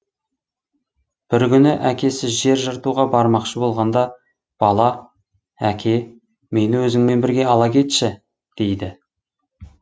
бір күні әкесі жер жыртуға бармақшы болғанда бала әке мені өзіңмен бірге ала кетші дейді